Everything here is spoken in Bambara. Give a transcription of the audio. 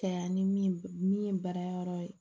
Kɛ yan ni min ye baara yɔrɔ ye